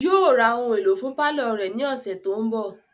Yóò ra ohun èlò fún pálọ̀ rẹ̀ ni ọ̀sẹ̀ tó ń bọ̀